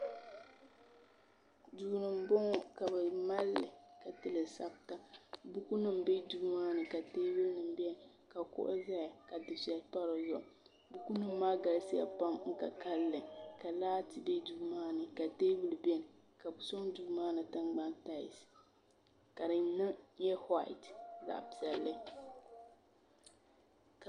duu n bɔŋɔ ka bi malli ka tili sabita buku nim bɛ duu maa ni ka teebuli biɛni ka kuɣu ʒɛya ka dufɛli pa dizuɣu buku nim maa galisiya pam di ka kanli ka laati bɛ duu maa ni ka teebuli biɛni ka bi sɔŋ duu maa tiŋ maa taals ka di nyɛ whait zaɣ piɛlli